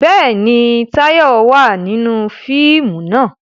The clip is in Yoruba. Bẹ́ẹ̀ni, Táyọ̀ wà nínú fíìmù náà